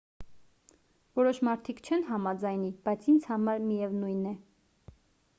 որոշ մարդիկ չեն համաձայնի բայց ինձ համար միևնույն է